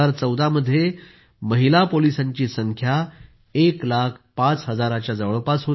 2014 मध्ये महिला पोलिसांची संख्या 1 लाख 5 हजारच्या जवळपास होती